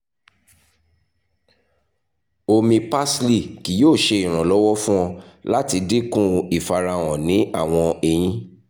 omi parsley kii yoo ṣe iranlọwọ fun ọ lati dinku ifarahan ni awọn eyin